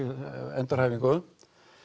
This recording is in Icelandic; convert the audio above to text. endurhæfingu